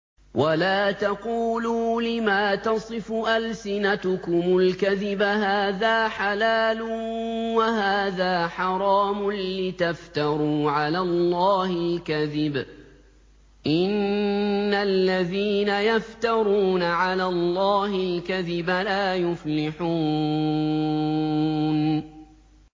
وَلَا تَقُولُوا لِمَا تَصِفُ أَلْسِنَتُكُمُ الْكَذِبَ هَٰذَا حَلَالٌ وَهَٰذَا حَرَامٌ لِّتَفْتَرُوا عَلَى اللَّهِ الْكَذِبَ ۚ إِنَّ الَّذِينَ يَفْتَرُونَ عَلَى اللَّهِ الْكَذِبَ لَا يُفْلِحُونَ